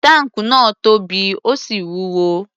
Táǹkù náà tóbi, ó sì wúwo.